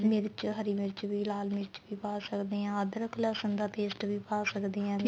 ਮਿਰਚ ਹਰੀ ਮਿਰਚ ਵੀ ਲਾਲ ਮਿਰਚ ਵੀ ਪਾ ਸਕਦੇ ਆ ਅਧਰਕ ਲਸਣ ਦਾ paste ਵੀ ਪਾ ਸਕਦੇ ਆ